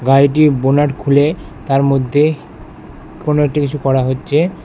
গাড়িটি বোনাট খুলে তার মধ্যে কোনো একটি কিছু করা হচ্ছে।